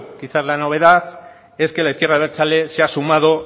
quizás la novedad es que la izquierda abertzale se ha sumado